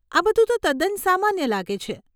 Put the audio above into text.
આ બધું તો તદ્દન સામાન્ય લાગે છે.